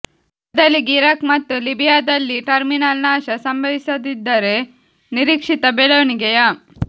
ಬದಲಿಗೆ ಇರಾಕ್ ಮತ್ತು ಲಿಬಿಯಾದಲ್ಲಿ ಟರ್ಮಿನಲ್ ನಾಶ ಸಂಭವಿಸದಿದ್ದರೆ ನಿರೀಕ್ಷಿತ ಬೆಳವಣಿಗೆಯ